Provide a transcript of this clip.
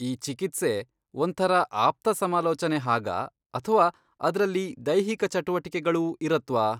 ಈ ಚಿಕಿತ್ಸೆ ಒಂದ್ ಥರ ಆಪ್ತ ಸಮಾಲೋಚನೆ ಹಾಗಾ ಅಥ್ವಾ ಅದ್ರಲ್ಲಿ ದೈಹಿಕ ಚಟುವಟಿಕೆಗಳೂ ಇರುತ್ವಾ?